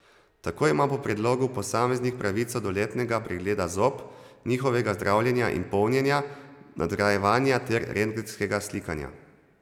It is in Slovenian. Tako ima po predlogu posameznik pravico do letnega pregleda zob, njihovega zdravljenja in polnjenja, nadgrajevanja ter rentgenskega slikanja.